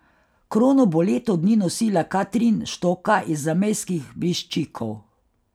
Krono bo leto dni nosila Katrin Štoka iz zamejskih Briščikov.